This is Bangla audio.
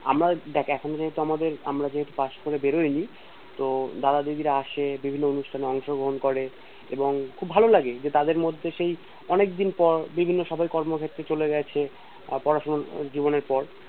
আমার দেখ এখন কিন্তু আমাদের আমরা যেহেতু পাশ করে বেরোয়নি তো দাদা দিদিরা আসে বিভিন্ন অনুষ্ঠান এ অংশগ্রহন করে করে এবং খুব ভালো লাগে তাদের মধ্যে সেই অনেক দিন পরে বিভিন্ন সবাই কর্মজীবনে চলে গেছে আর পড়াশোনার জীবনের পর